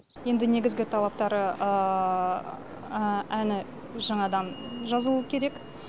енді негізгі талаптары әні жаңадан жазылуы керек